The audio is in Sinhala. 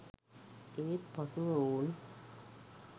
ඒත් පසුව ඔවුන්